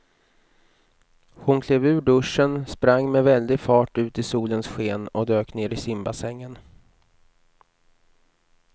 Hon klev ur duschen, sprang med väldig fart ut i solens sken och dök ner i simbassängen.